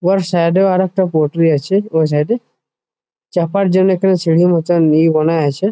উয়ার সাইড এও আরো একটা পটরি আছে ওই সাইড এ চাপার জন্যে এক খানি সিঁড়ি মতন ইয়ে বানা আছে।